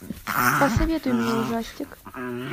посоветуй мне ужастик